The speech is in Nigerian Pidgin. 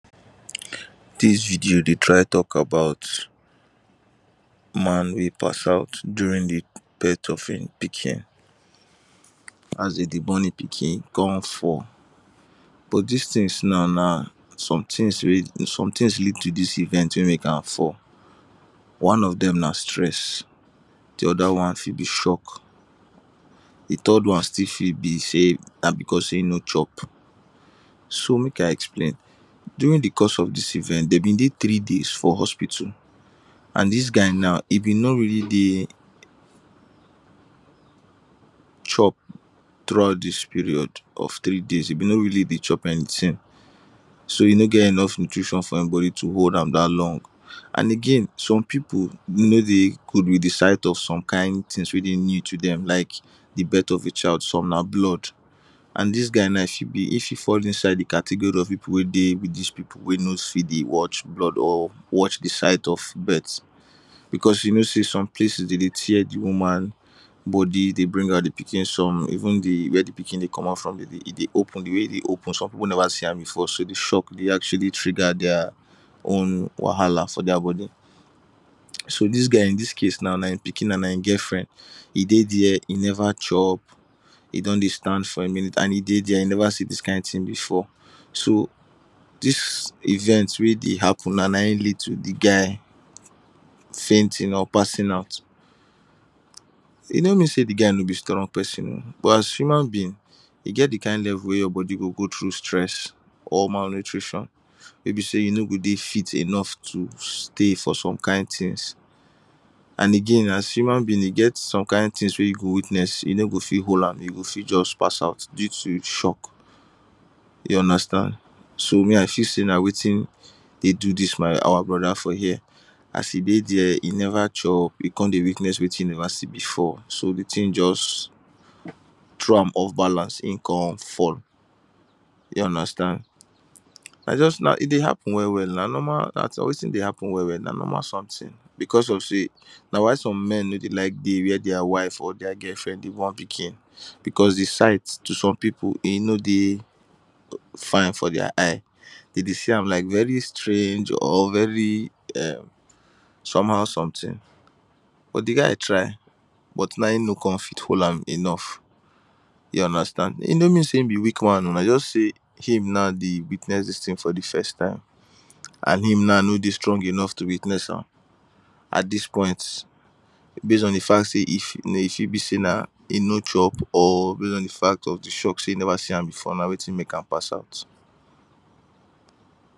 Dis video dey try talk about man man wey pass out during di birth of e pikin, as dem dey born e pikin, e kon fall but these now na some things lead to dis event wey make an fall. One of dem na stress, di other one na shock, di third one fit still be say na because e no chop so make I explain. During di course of dis event, dem be dey three days for hospital and dis guy now, e been no really dey chop throughout dis period of three day, e been no really dey chop anything so e no get enough nutrition for e body to hold am dat long and again, some people no dey good with di sight of some kain things wey dey new to them like the birth of a child, some na blood and dis guy now fit fall inside the category of people wey dey with these people wey no fit dey watch blood or watch di sight of birth because you know say some places, dem dey tear di woman body dey bring out di pikin, some even where di pikin Dey come out from e dey open, di way e dey open, some people never see am before so di shock fit trigger their own wahala for their body. So this guy in dis case now na e pikin and e girlfriend, e dey there, e never chop, e don dey stand for a a minute and e dey there, e never see dis kain thing before, so dis event wey dey happen now na e lead to di guy fainting or passing out. E no mean say di guy no be strong person o but as human being, e get the kain level wey your body go go through stress or malnutrition wey be say you no go dey fit enough to stay for some kain things and again as human beings, e get some kain things wey you go witness, you no go fit hold am, you go fit just pass out due to shock, you understand? So, me, I feel say na wetin dey do this our brother for here. As e dey there, e never chop, e kon dey witness wetin e never see before so the thing just throw am off balance, e kon fall, you understand? E dey happen well well, na normal thing, na wetin dey happen well well, na normal something because of say, na why some men no dey like dey where their wife or their girlfriend dey born pikin because the sight to some people, e no dey fine for their eye, dem dey see am like very strange or very somehow something but the guy try. But now, e no kon fit hold am enough, you understand? E no mean say na weak man, na just say him now dey witness am for the first time and him now no dey strong to witness am at this point based on the fact say e fit be say na e no chop or based on the fact of the shock say e never see am before na wetin na wetin make am pass out.